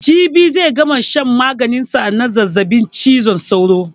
Jibi zai gama shan maganin sa na zazzaɓin cizon sauro